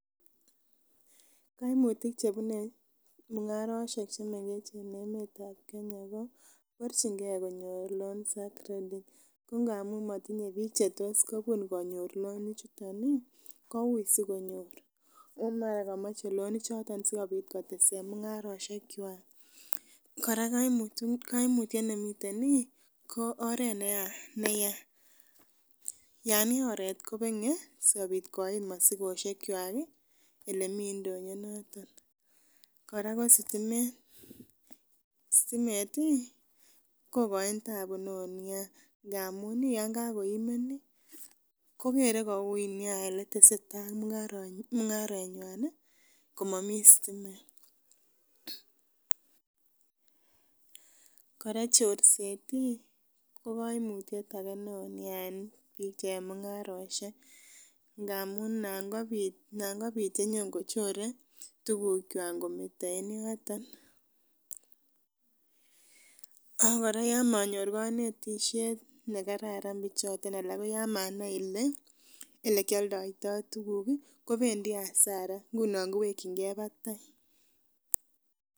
Koimutik chebune mung'arosiek en emetab Kenya koborchingee konyor loans ak credit ko ngamun motinye biik chetos kobun konyor loan ichuton ih kouui sikonyor ako mara komoche loan ichoton kotesen mung'arosiek kwak. Kora koimutiet nemiten ih ko oret neyaa yan yaa oret kobeng'e sikobit koit mosikosiek kwak ih elemii ndonyo noton. Kora ko sitimet, stimet ih ko koin tabu neoo nia ngamun ih yon kakoimen ih kokere koui nia eletesetaa ak mung'aretnywan ih komomii stimet, kora chorset ih ko koimutyet age neoo nia en chemungarosiek ngamun nan kobit nan kobit chenyon kochore tuguk kwak ngometo en yoton. Ak kora yon monyor konetisiet nekararan bichoton ana ko yan manai ele elekioldoitoo tuguk ih kobendii hasara ngunon kowekyingee batai.